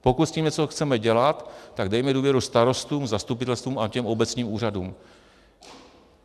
Pokud s tím něco chceme dělat, tak dejme důvěru starostům, zastupitelstvům a těm obecním úřadům.